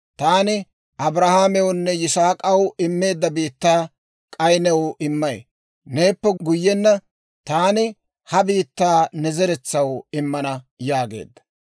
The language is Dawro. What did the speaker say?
Taani Abrahaamewunne Yisaak'aw immeedda biittaa, k'ay new immay; neeppe guyyenna taani ha biittaa ne zeretsaw immana» yaageedda.